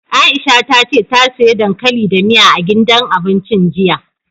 Aisha ta ce ta siya dankali da miya, a gidan abincin jiya.